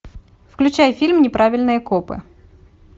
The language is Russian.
включай фильм неправильные копы